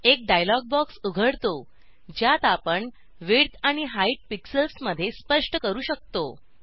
एक dialog box उघडतो ज्यात आपण विड्थ आणि हाइट पिक्सेल्स मध्ये स्पष्ट करू शकतो